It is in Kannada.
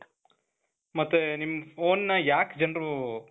ಮತ್ತೆ ನಿಮ್ phoneನ ಯಾಕ್ ಜನರು .